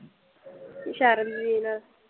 ਸ਼ਰਨਵੀਰ ਨਾਲ